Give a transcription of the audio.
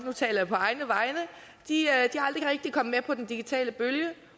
nu taler jeg på egne vegne de er aldrig rigtig kommet med på den digitale bølge